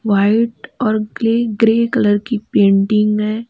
White और grey grey colour की painting है।